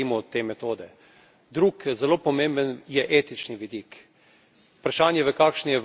Drug zelo pomemben je etični vidik vprašanje, v kakšni Evropi želimo živeti.